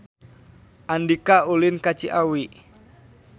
Andika ulin ka Ciawi